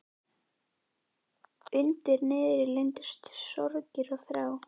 Undir niðri leyndust sorgir og þrár.